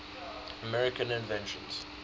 american inventions